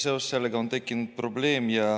Seoses sellega on tekkinud probleem.